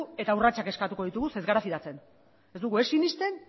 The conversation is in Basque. eta urratsak eskatuko ditugu ze ez gara fidatzen ez dugu ez sinesten